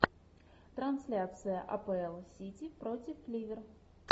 трансляция апл сити против ливер